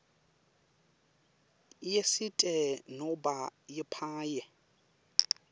yesite nobe yepaye